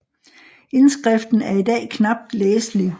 Indskriften er i dag knapt læselig